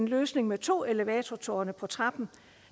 løsningen med to elevatortårne på trappen